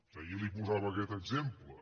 ahir li posava aquest exemple